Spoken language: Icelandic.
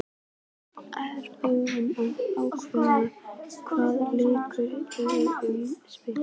Ertu búinn að ákveða hvaða leikkerfi liðið mun spila?